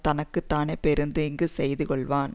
தனக்கு தானே பெருந்தீங்கு செய்து கொள்வான்